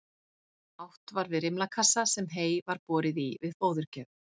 Átt var við rimlakassa sem hey var borið í við fóðurgjöf.